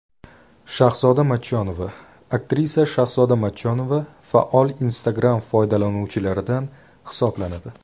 Shahzoda Matchonova Aktrisa Shahzoda Matchonova faol Instagram foydalanuvchilaridan hisoblanadi.